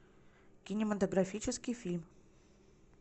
кинематографический фильм